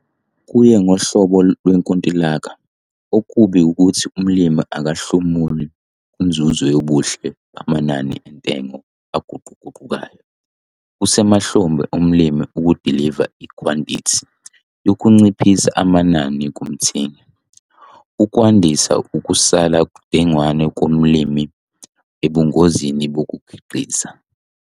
Kuye ngohlobo lwenkontilaki, okubi ukuthi umlimi akahlomuli kunzuzo yobuhle bamanani entengo aguquguqukayo. Kusemahlombe omlimi ukudiliva ikhwantithi yokunciphisa amanani kumthengi, okwandisa ukusala dengwane komlimi ebungozini bokukhiqiza.